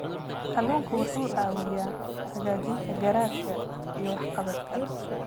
Kalluunku wuxuu caawiyaa hagaajinta garaadka iyo waxqabadka.